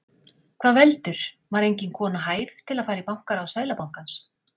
Hvað veldur, var engin kona hæf til að fara í bankaráð Seðlabankans?